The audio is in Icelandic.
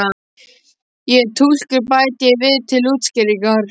Ég er túlkur bæti ég við til útskýringar.